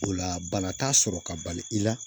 O la bana t'a sɔrɔ ka bali i la